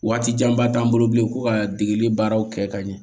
Waati janba t'an bolo bilen ko ka degeli baaraw kɛ ka ɲɛ